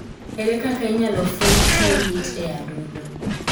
Ere kaka inyalo fweny tuwo lit e adundo ?